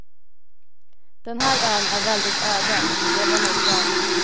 Den här ön är väldigt öde, och det var nog bra.